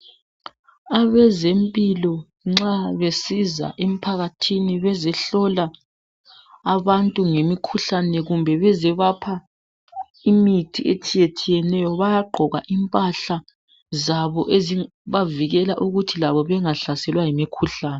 Abezempilo nxa besiza emphakathini, bezehlola abantu ngemikhuhlane. Kumbe beze bapha imithi etshiyetshiyeneyo. Bayagqoka impahla zabo, ezibavikela ukuthi labo bengahlaselwa yimikhuhlane.